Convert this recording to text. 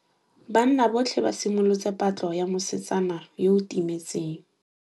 Banna botlhê ba simolotse patlô ya mosetsana yo o timetseng.